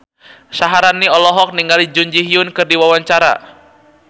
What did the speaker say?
Syaharani olohok ningali Jun Ji Hyun keur diwawancara